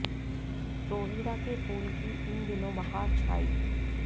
रोहिड़ा के फूल की इन दिनों बहार छाई